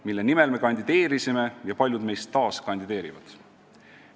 Mille nimel me kandideerisime ja paljud meist taas kandideerivad?